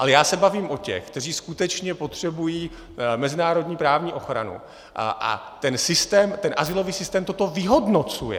Ale já se bavím o těch, kteří skutečně potřebují mezinárodní právní ochranu, a ten azylový systém toto vyhodnocuje.